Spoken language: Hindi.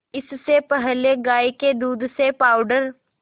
इससे पहले गाय के दूध से पावडर